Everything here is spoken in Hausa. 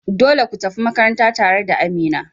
Dole kutafi makaranta tare da Amina.